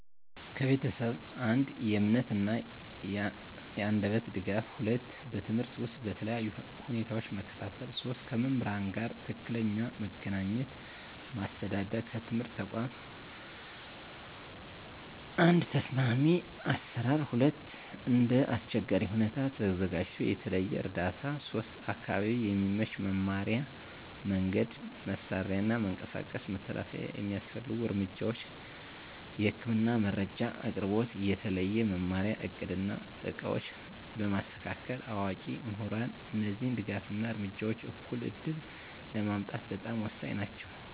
ከቤተሰብ፦ 1. የእምነት እና የአንደበት ድጋፍ 2. በትምህርት ውስጥ በተለያዩ ሁኔታዎች መከታተል 3. ከመምህራን ጋር ትክክለኛ መገናኘት ማስተዳደር ከትምህርት ተቋም፦ 1. ተስማሚ አሰራር 2. እንደ አስቸጋሪ ሁኔታ ተዘጋጅቶ የተለየ እርዳታ 3. አካባቢ የሚመች መማሪያ መንገድ፣ መሳሪያ እና መንቀሳቀስ መተላለፊያ የሚያስፈልጉ እርምጃዎች፦ የህክምና መረጃ አቅርቦት፣ የተለየ መማሪያ እቅድ እና ዕቃዎች በማስተካከል፣ አዋቂ ምሁራን እነዚህ ድጋፍ እና እርምጃዎች እኩል ዕድል ለማምጣት በጣም ወሳኝ ናቸው።